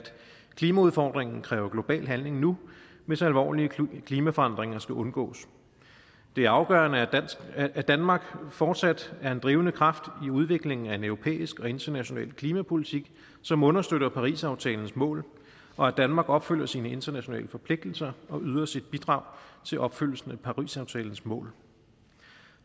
klimaudfordringen kræver global handling nu hvis alvorlige klimaforandringer skal undgås det er afgørende at danmark fortsat er en drivende kraft i udviklingen af en europæisk og international klimapolitik som understøtter parisaftalens mål og at danmark opfylder sine internationale forpligtelser og yder sit bidrag til opfyldelsen af parisaftalens mål